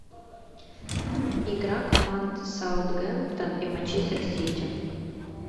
игра команд саутгемптон и манчестер сити